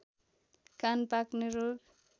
कान पाक्ने रोग